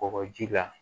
Kɔgɔji la